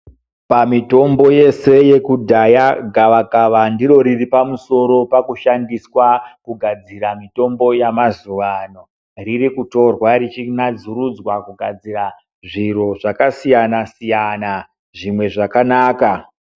Pamitombo yese yekudhaya, gavakava ndiro riri pamusoro pakushandiswa kugadzira mitombo yamazuvano. Ririkutorwa richinadzurudzwa kugadzira zviro zvakasiyana-siyana, zvimwe zvakanaka.